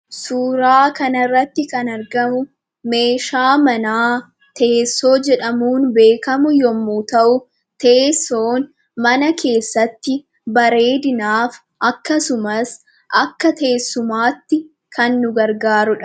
Suuraa kanarratti kan argamu meeshaa manaa teessoo jedhamuun beekamu yommuu ta'u, teessoon mana keessatti bareedinaaf, akkasumas akka teessumaatti kan nu gargaarudha.